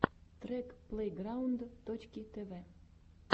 трек плейграунд точки тв